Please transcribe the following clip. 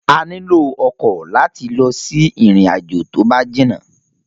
A lílò ọkọ̀ láti lọ sí ìrìn àjò tó bá jìnà